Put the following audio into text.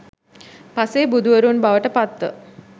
පසේබුදුවරුන් බවට පත්ව